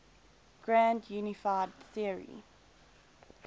grand unified theory